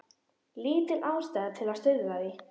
Lítil ástæða til að stuðla að því.